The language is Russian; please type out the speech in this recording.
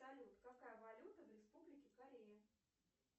салют какая валюта в республике корея